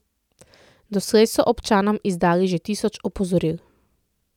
Doslej so občanom izdali že tisoč opozoril.